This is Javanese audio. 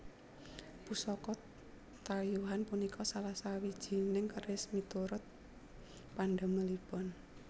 Pusaka tayuhan punika salah sawijining keris miturut pandamelipun